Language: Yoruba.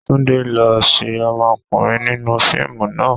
Túndé lo ṣé ọmọkùnrin nínú fíìmù náà.